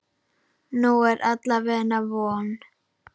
Nú er alla vega von.